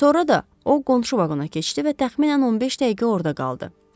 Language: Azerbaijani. Sonra da o qonşu vaqona keçdi və təxminən 15 dəqiqə orda qaldı.